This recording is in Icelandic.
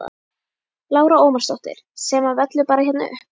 Lára Ómarsdóttir: Sem að vellur bara hérna upp?